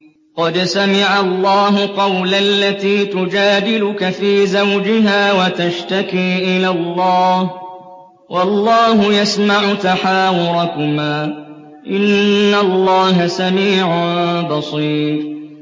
قَدْ سَمِعَ اللَّهُ قَوْلَ الَّتِي تُجَادِلُكَ فِي زَوْجِهَا وَتَشْتَكِي إِلَى اللَّهِ وَاللَّهُ يَسْمَعُ تَحَاوُرَكُمَا ۚ إِنَّ اللَّهَ سَمِيعٌ بَصِيرٌ